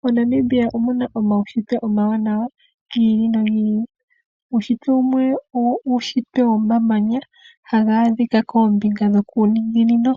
MoNamibia omuna omaunshitwe omawanawa, gi ili nogi ili. Uunshitwe wumwe owomamanya, ngoka haga adhika koombinga dhokuninginino.